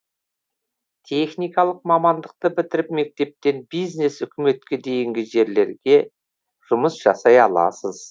техникалық мамандықты бітіріп мектептен бизнес үкіметке дейінгі жерлерге жұмыс жасай аласыз